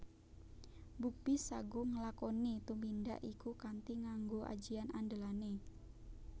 Bukbis saguh nglakoni tumindak iku kanthi nganggo ajian andelané